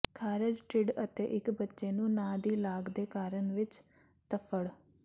ਖਾਰਸ਼ ਢਿੱਡ ਅਤੇ ਇੱਕ ਬੱਚੇ ਨੂੰ ਨਾ ਦੀ ਲਾਗ ਦੇ ਕਾਰਨ ਵਿੱਚ ਧੱਫ਼ੜ